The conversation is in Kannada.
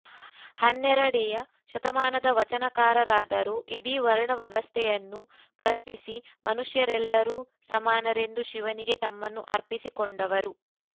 ಹನ್ನೆರಡೆಯ ಶತಮಾನದ ವಚನಕಾರರಾದರೋ ಇಡೀ ವರ್ಣ ವ್ಯವಸ್ಥೆಯನ್ನು ಪ್ರಶ್ನಿಸಿ ಮನುಷ್ಯರೆಲ್ಲರೂ ಸಮಾನರೆಂದು ಶಿವನಿಗೆ ತಮ್ಮನ್ನು ಅರ್ಪಿಸಿಕೊಂಡವರು